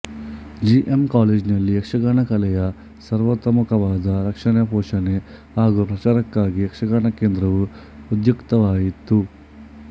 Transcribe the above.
G M ಕಾಲೇಜಿನಲ್ಲಿ ಯಕ್ಷಗಾನ ಕಲೆಯ ಸರ್ವತೋಮುಖವಾದ ರಕ್ಷಣೆ ಪೋಷಣೆ ಹಾಗೂ ಪ್ರಚಾರಕ್ಕಾಗಿ ಯಕ್ಷಗಾನ ಕೇಂದ್ರವು ಉದ್ಯುಕ್ತವಾಯಿತು